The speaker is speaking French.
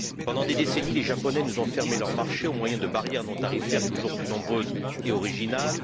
Pendant des décennies, les Japonais nous ont fermé leur marché au moyen de barrières non tarifaires toujours plus nombreuses et originales.